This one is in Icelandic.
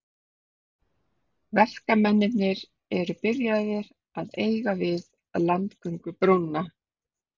Verkamennirnir eru byrjaðir að eiga við landgöngubrúna.